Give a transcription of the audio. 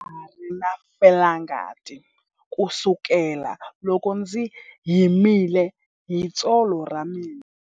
Ndza ha ri na felangati kusukela loko ndzi himile hi tsolo ra mina.